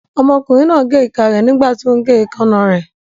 Ọmọkùnrin náà gé ìka rẹ̀ nígbàtí ó ún gé èékánná rẹ̀